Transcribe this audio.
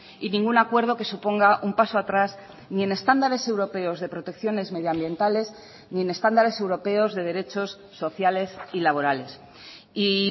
y ningún acuerdo que suponga un paso atrás ni en estándares europeos de protecciones medioambientales ni en estándares europeos de derechos sociales y laborales y